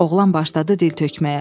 Oğlan başladı dil tökməyə.